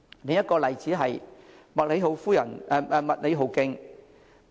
另一個例子是麥理浩徑。